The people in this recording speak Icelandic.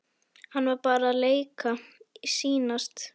Hann var bara að leika, sýnast.